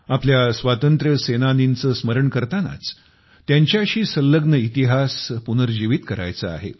आपल्या स्वातंत्र्य सेनानीचे स्मरण करतानाच त्यांचा संलग्न इतिहास पुनर्जीवित करायचा आहे